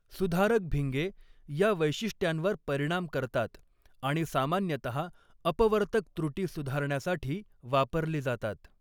सुधारक भिंगे या वैशिष्ट्यांवर परिणाम करतात आणि सामान्यतः अपवर्तक त्रुटी सुधारण्यासाठी वापरली जातात.